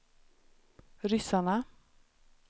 ryssarna